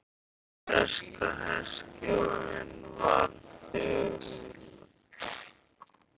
Breska herstjórnin var þögul sem gröfin.